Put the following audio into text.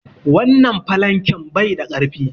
Wannan falanken bai da ƙarfi.